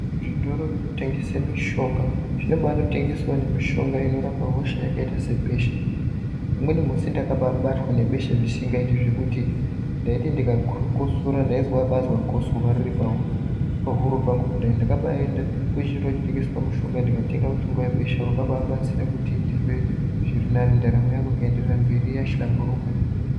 Zvitoro zvinotengese mushonga zvinobatengesawo mishonga inorape hosha yakaita sebesha. Umweni musi ndakababatwa nebesha zvisingaiti zvekuti ndaiti ndikakosora ndaibazwa gosora riri pahuro pangu kudai. Ndakabaenda kuchitoro chinotengeswa mushonga ndikatenga mushonga webesha wababatsira kuti ndizwe zvirinani ndaramo yangu iyenderere mberi yahlamburuka.